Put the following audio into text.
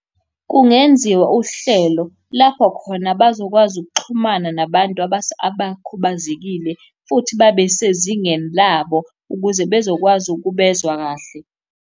Kungenziwa uhlelo lapho khona bazokwazi ukuxhumana nabantu abakhubazekile futhi babe sezingeni labo ukuze bezokwazi ukubezwa kahle.